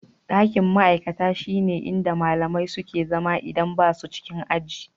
Ɗakin ma'aikata shine inda malamai suke zama idan ba su cikin aji.